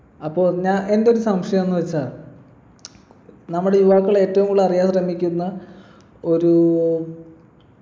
അപ്പൊ ഞാ എൻ്റെ ഒരു സംശയം എന്നു വെച്ചാ നമ്മുടെ യുവാക്കൾ ഏറ്റവും കൂടുതൽ അറിയാൻ ശ്രമിക്കുന്ന ഒരൂ